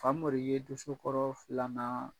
Famori ye dosokɔrɔ filanan